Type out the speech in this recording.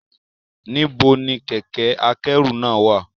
Nibo ni kẹkẹ-akẹru náa wa?